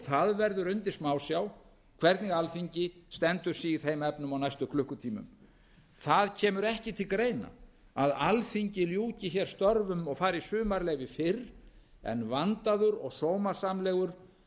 það verður undir smásjá hvernig alþingi stendur sig í þeim efnum á næstu klukkutímum það kemur ekki til greina að alþingi ljúki hér störfum og fari í sumarleyfi fyrr en vandaður og sómasamlegur